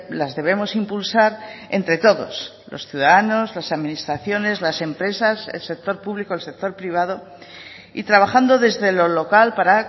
las debemos impulsar entre todos los ciudadanos las administraciones las empresas el sector público el sector privado y trabajando desde lo local para